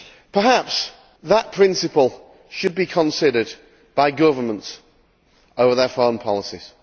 Perhaps that principle should be considered by governments over their foreign policies.